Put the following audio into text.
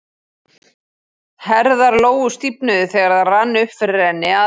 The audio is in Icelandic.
Herðar Lóu stífnuðu þegar það rann upp fyrir henni að